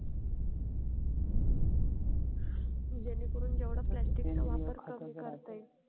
जेणेकरून जेवढा plastic चा वापर कमी करता येईल.